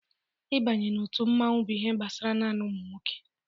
Ịbanye na otu mmanwụ bụ ihe gbasara naanị ụmụnwoke.